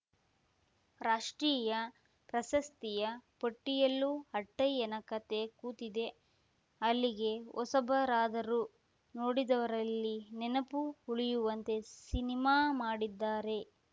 ರಾಷ್ಟ್ರೀಯ ಪ್ರಶಸ್ತಿಯ ಪಟ್ಟಿಯಲ್ಲೂ ಅಟ್ಟಯ್ಯನ ಕತೆ ಕೂತಿದೆ ಅಲ್ಲಿಗೆ ಹೊಸಬರಾದರೂ ನೋಡಿದವರಲ್ಲಿ ನೆನಪು ಉಳಿಯುವಂತೆ ಸಿನಿಮಾ ಮಾಡಿದ್ದಾರೆ